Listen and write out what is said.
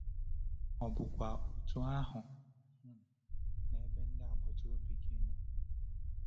Ọ bụkwa otú ahụ um n’ebe ndị agbata obi gị nọ?